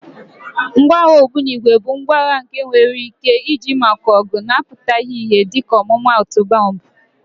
Ngwa agha ogbunigwe bụ ngwa agha nke enwere ike iji maka ọgụ na-apụtaghị ìhè dịka ọmụmaatụ bọmbụ.